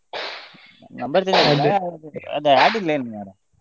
Number change ಆಗ್ಲಿಲ್ಲ .